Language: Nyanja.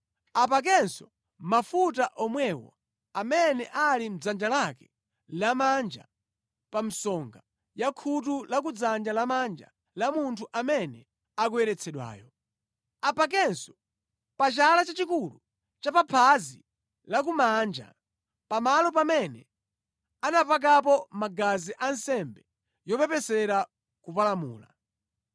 Apakenso mafuta omwewo amene ali mʼdzanja lake lamanja pa msonga ya khutu la kudzanja lamanja la munthu amene akuyeretsedwayo. Apakenso pa chala chachikulu cha phazi lakumanja, pamalo pamene anapakapo magazi a nsembe yopepesera kupalamula.